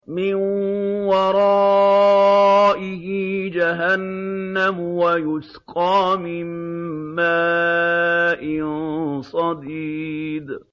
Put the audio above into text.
مِّن وَرَائِهِ جَهَنَّمُ وَيُسْقَىٰ مِن مَّاءٍ صَدِيدٍ